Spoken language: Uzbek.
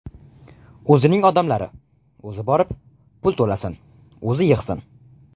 O‘zining odamlari, o‘zi borib, pul to‘lasin, o‘zi yig‘sin.